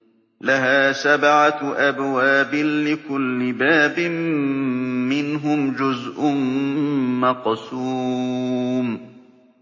لَهَا سَبْعَةُ أَبْوَابٍ لِّكُلِّ بَابٍ مِّنْهُمْ جُزْءٌ مَّقْسُومٌ